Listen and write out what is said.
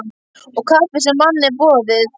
Og kaffið sem manni er boðið.